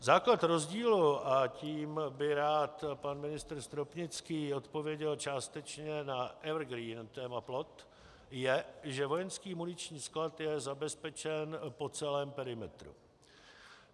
Základ rozdílu, a tím by rád pan ministr Stropnický odpověděl částečně na evergreen téma plot, je, že vojenský muniční sklad je zabezpečen po celém perimetru.